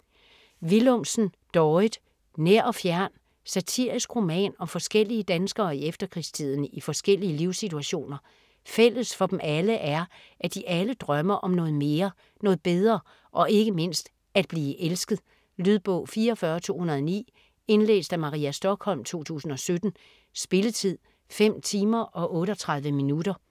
Willumsen, Dorrit: Nær og fjern Satirisk roman om forskellige danskere i efterkrigstiden i forskellige livssituationer. Fælles for dem alle, er at de alle drømmer om noget mere, noget bedre og ikke mindst at blive elsket. Lydbog 44209 Indlæst af Maria Stokholm, 2017. Spilletid: 5 timer, 38 minutter.